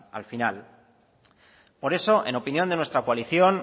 al final por eso en opinión de nuestra coalición